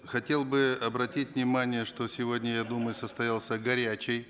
хотел бы обратить внимание что сегодня я думаю состоялся горячий